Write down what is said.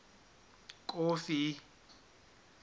kofi